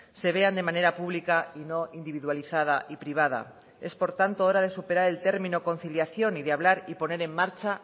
se vean de manera pública y no individualizada y privada es por tanto hora de superar el término conciliación y de hablar y poner en marcha